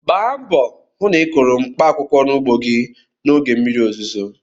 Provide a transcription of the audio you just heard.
Gba mbọ hụ na ị kụrụ mkpaakwụkwọ n'ugbo gị n'oge mmiri ozuzo!